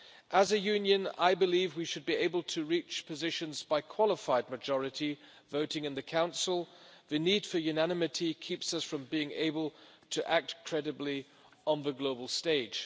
As a Union, I believe we should be able to reach positions by qualified majority voting in the Council the need for unanimity keeps us from being able to act credibly on the global stage.